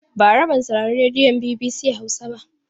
Bara ban saurari rediyon BBC Hausa ba.